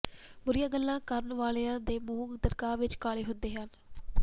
ਬੁਰੀਆਂ ਗੱਲਾਂ ਕਰਨ ਵਾਲਿਆ ਦੇ ਮੂੰਹ ਦਰਗਾਹ ਵਿੱਚ ਕਾਲੇ ਹੁੰਦੇ ਹਨ